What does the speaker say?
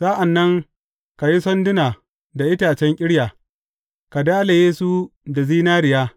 Sa’an nan ka yi sanduna da itacen ƙirya, ka dalaye su da zinariya.